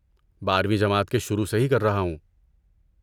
بارویں جماعت کے شروع سے ہی کر رہا ہوں